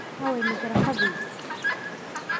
Aaway majarafadihii?